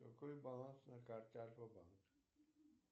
какой баланс на карте альфа банк